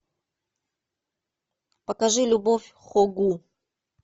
покажи любовь хо гу